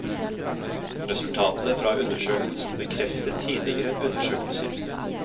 Resultatene fra undersøkelsen bekreftet tidligere undersøkelser.